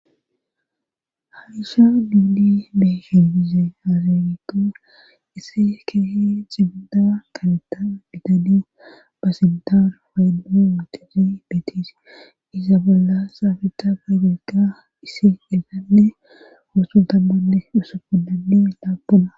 Harisha miidi beehibize harewitu isse kehe xibida kaneta bidani ba sintaaru wayenno wutizi beetisi iza bolla saabeta gaydeyka isi delanne musundammanne usu udai laabbuna.